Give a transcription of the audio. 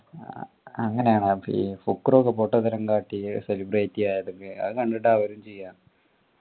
ആഹ് അങ്ങനെയാണാ ഫക്രു ഒക്കെ പൊട്ടത്തരം കാട്ടി celebrity ആയത് അത് കണ്ടിട്ട് അവരും ചെയ്യാ